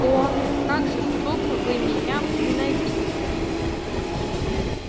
о как жестоко вы меня возненавидите